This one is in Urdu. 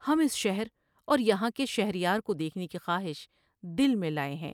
ہم اس شہر اور یہاں کے شہر یار کو دیکھنے کی خواہش دل میں لائے